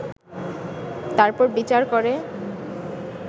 তারপর বিচার করে